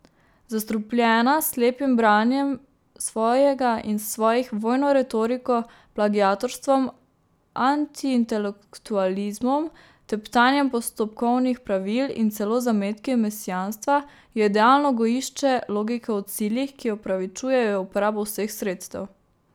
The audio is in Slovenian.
Zastrupljena s slepim branjenjem svojega in svojih, vojno retoriko, plagiatorstvom, antiintelektualizmom, teptanjem postopkovnih pravil in celo zametki mesijanstva je idealno gojišče logike o ciljih, ki opravičujejo uporabo vseh sredstev.